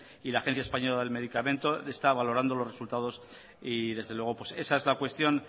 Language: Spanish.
y la agencia española del medicamento y productos sanitarios está valorando los resultados y desde luego esa es la cuestión